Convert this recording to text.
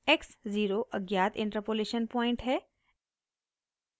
x 0 अज्ञात interpolation point है